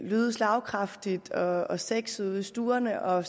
lyde slagkraftigt og og sexet ude i stuerne og